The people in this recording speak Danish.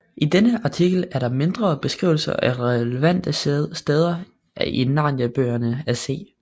I denne artikel er der mindre beskrivelser af relevante steder i Narniabøgerne af C